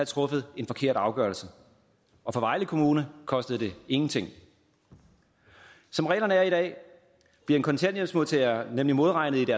truffet en forkert afgørelse og for vejle kommune kostede det ingenting som reglerne er i dag bliver en kontanthjælpsmodtager nemlig modregnet i